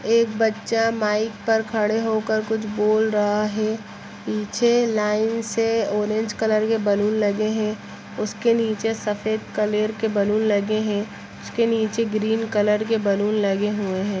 एक बच्चा माइक पे खड़े होक कुछ बोल रहा है पीछे लाइन से ऑरेंज कलर के बलून लगे हैं उस के निचे सफ़ेद कलर के बलून लगे है उस के निचे ग्रीन कलर के बलून लगे हुए है।